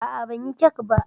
A'a, banyi kek ba.